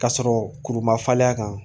Ka sɔrɔ kuru ma falen a kan